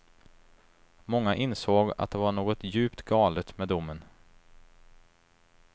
Många insåg att det var något djupt galet med domen.